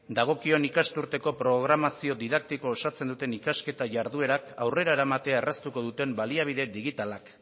dagokion ikasturteko programazioa didaktikoa osatzen duten ikasketa jarduerak aurrera eramatea erraztuko duten baliabide digitalak